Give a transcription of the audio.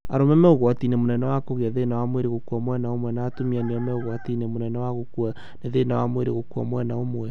Arũme me ũgwati-inĩ mũnene wa kũgĩa thĩna wa mwĩrĩ gũkua mwena ũmwe no atumia nĩo me ũgwati-inĩ mũnene wa gũkua nĩ thĩna wa mwĩrĩ gũkua mwena ũmwe